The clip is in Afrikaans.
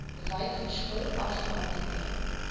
wyk verskil afhangende